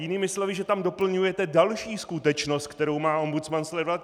Jinými slovy, že tam doplňujete další skutečnost, kterou má ombudsman sledovat.